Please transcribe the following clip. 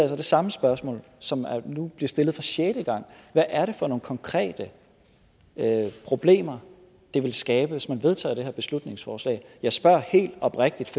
så det samme spørgsmål som nu bliver stillet for sjette gang hvad er det for nogle konkrete problemer det ville skabe hvis man vedtog det her beslutningsforslag jeg spørger helt oprigtigt